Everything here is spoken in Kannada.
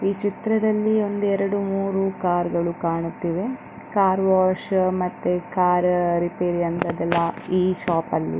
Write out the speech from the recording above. ಚಿತ್ರದಲ್ಲಿ ಒಂದು ಎರಡು ಮೂರು ಕಾರ್ ಗಳು ಕಾಣುತ್ತಿವೆ ಕಾರ್ ವಾಶ್ ಮತ್ತು ಕಾರ್ ರಿಪೇರ್ ಅದೆಲ್ಲ ಈ ಶಾಪ್ ಲ್ಲಿ .